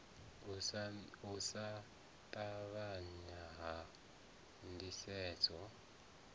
u sa ṱavhanya ha ndisedzo